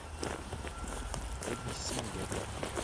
эбби сингер